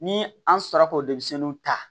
Ni an sera k'o denmisɛnninw ta